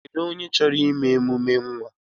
Kedụ onye chọrọ ime emume nwa?